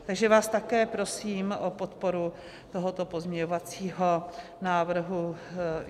Takže vás také prosím o podporu tohoto pozměňovacího návrhu.